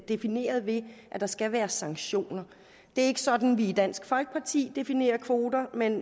defineret ved at der skal være sanktioner det er ikke sådan vi i dansk folkeparti definerer kvoter men